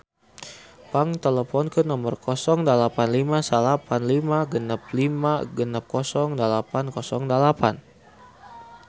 Pang teleponkeun nomer 085956560808